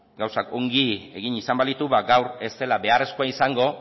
gauzak ongi egin izan balitu ba gaur ez dela zeharrezkoa izango